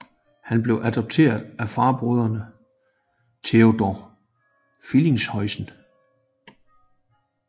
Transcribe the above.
Han blev adopteret af farbroderen Theodore Frelinghuysen